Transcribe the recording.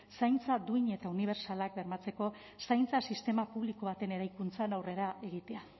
zaintza duin eta unibertsalak bermatzeko zaintza sistema publiko baten eraikuntzan aurrera egitea